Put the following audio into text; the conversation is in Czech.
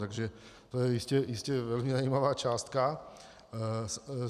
Takže to je jistě velmi zajímavá částka.